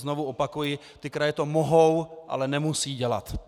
Znovu opakuji, ty kraje to mohou, ale nemusí dělat.